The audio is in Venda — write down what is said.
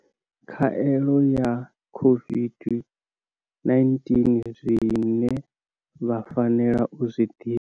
Khaelo ya COVID-19, Zwine vha fanela u zwi ḓivha.